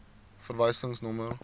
verwysingsnommer